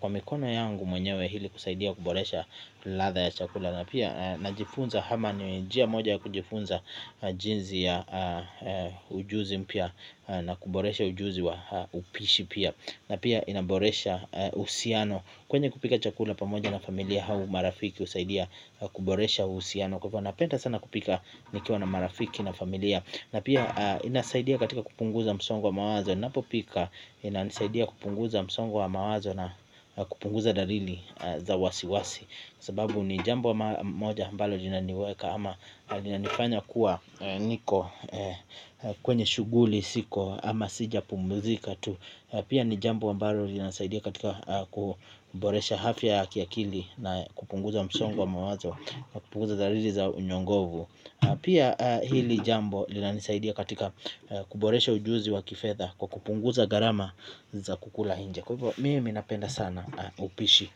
Kwa mikono yangu mwenyewe hili kusaidia kuboresha ladha ya chakula. Na pia najifunza hama ni jia moja ya kujifunza jinzi ya ujuzi mpya na kuboresha ujuzi wa upishi pia. Na pia inaboresha uhusiano kwenye kupika chakula pamoja na familia hau marafiki usaidia kuboresha uhusiano. Kwa hivo napenda sana kupika nikiwa na marafiki na familia. Na pia inasaidia katika kupunguza msongo wa mawazo ninapopika inasaidia kupunguza msongo wa mawazo na kupunguza darili za wasiwasi. Sababu ni jambo moja ambalo linaniweka ama linanifanya kuwa niko kwenye shughuli siko ama sijapumuzika tu. Pia ni jambo ambalo linasaidia katika kuboresha hafya ya kiakili. Na kupunguza msongo wa mawazo na kupunguza zariri za unyongovu. Pia hili jambo linanisaidia katika kuboresha ujuzi wa kifedha. Kwa kupunguza gharama za kukula hinje kwa hivyo mimi napenda sana upishi.